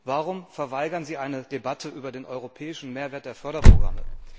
Warum verweigert sie eine Debatte über den europäischen Mehrwert der Förderprogramme?